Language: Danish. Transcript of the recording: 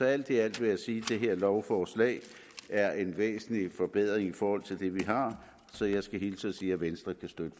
alt i alt vil jeg sige at det her lovforslag er en væsentlig forbedring i forhold til det vi har så jeg skal hilse og sige at venstre kan støtte